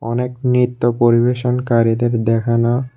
অনেক নৃত্য পরিবেশনকারীদের দেখানো--